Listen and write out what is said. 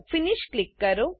finish click કરો